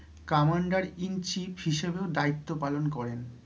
Commander in Chief হিসেবেও দায়িত্ব পালন করেন।